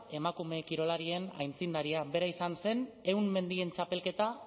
emakume kirolarien aitzindaria bera izan zen ehun mendien txapelketa